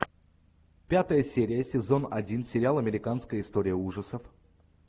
пятая серия сезон один сериал американская история ужасов